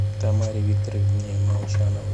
тамаре викторовне молчановой